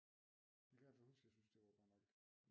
Kan jeg altså huske jeg syntes det var godt nok